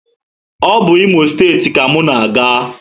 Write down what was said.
O bu Imo steeti ka mụ na aga